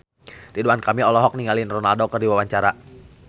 Ridwan Kamil olohok ningali Ronaldo keur diwawancara